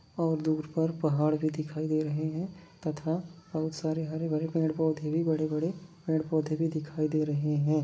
और दूर पर पहाड़ भी दिखाई दे रहे है तथा बहुत सारे हरे भरे पेड़ पोधे भी बड़े बड़े पेड़ पोधे भी दिखाई दे रहे हैं।